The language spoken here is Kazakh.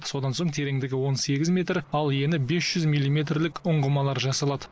содан соң тереңдігі он сегіз метр ал ені бес жүз милиметрлік ұңғымалар жасалады